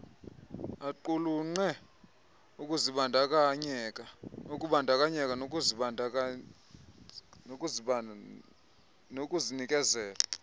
aqulunqe ukubandakanyeka nokuzinikezela